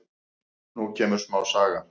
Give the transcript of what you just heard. Nú kemur smá saga.